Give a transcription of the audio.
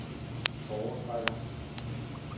foretrækker